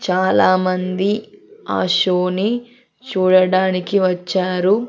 చాలామంది ఆ షో నీ చూడడానికి వచ్చారు.